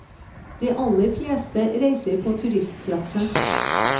De aller fleste reiser på turistklasse.